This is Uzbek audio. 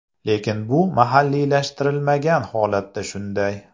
Lekin bu mahalliylashtirilmagan holatida shunday.